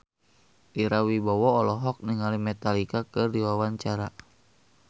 Ira Wibowo olohok ningali Metallica keur diwawancara